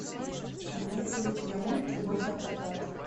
имеется ли у тебя мульт любовь на прокат